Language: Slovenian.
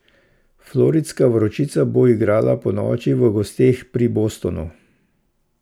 Floridska vročica bo igrala ponoči v gosteh pri Bostonu.